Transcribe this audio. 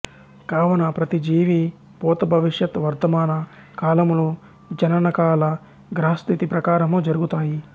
కావున ప్రతి జీవి భూత భవిష్యత్ వర్థమాన కాలములు జననకాల గ్రహస్థితి ప్రకారము జరుగుతాయి